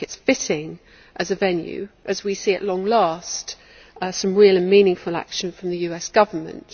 I think it is fitting as a venue as we see at long last some real and meaningful action from the US Government.